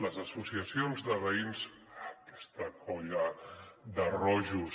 les associacions de veïns aquesta colla de rojos